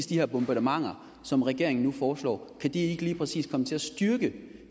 de her bombardementer som regeringen nu foreslår ikke lige præcis komme til at styrke